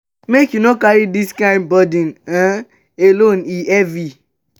make you no carry dis kain burden um alone e heavy.